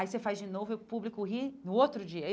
Aí você faz de novo e o público ri no outro dia.